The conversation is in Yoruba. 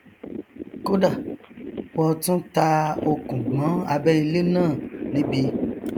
kódà wọ tún ta okùn mọ abẹ ilé náà níbi